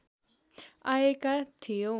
आएका थियौँ